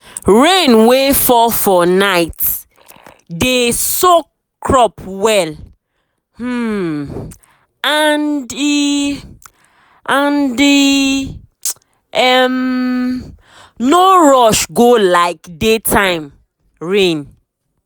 rain wey fall for night dey soak crop well um and e and e um no rush go like daytime rain.